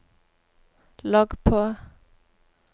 logg på